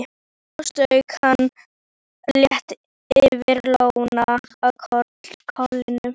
Svo strauk hann létt yfir lóna á kollinum.